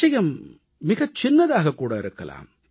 விஷயம் மிகச் சின்னதாகக் கூட இருக்கலாம்